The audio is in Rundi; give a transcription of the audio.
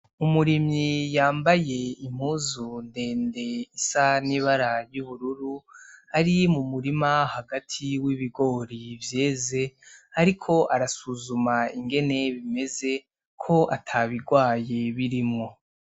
Umurimyi yambaye impuzu ndende isa n'ibara ry'ubururu ari mu murima hagati w'ibigori vyeze, ariko arasuzuma ingene bimeze ko atabirwaye birimwo.